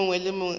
yo mongwe a ka ba